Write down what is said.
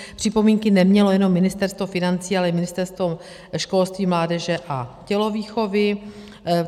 Připomínky nemělo jenom Ministerstvo financí, ale i Ministerstvo školství, mládeže a tělovýchovy.